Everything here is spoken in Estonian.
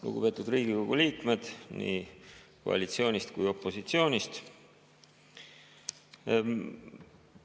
Lugupeetud Riigikogu liikmed nii koalitsioonist kui opositsioonist!